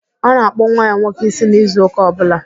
Ọ na-akpụ nwa ya nwoke ísí n'izu ụka ọbụla.